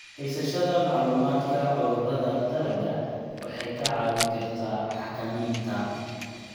Haysashada macluumaadka cudurrada dalagga waxay kaa caawin kartaa xakamaynta.